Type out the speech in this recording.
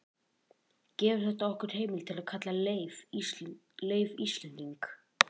gefur þetta okkur heimild til að kalla leif íslending